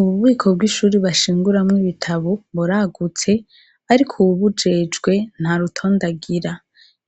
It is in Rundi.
Ububiko bw’ibitabo buragutse ariko uwubijejwe ntarutonde agira